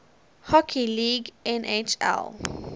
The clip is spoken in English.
hockey league nhl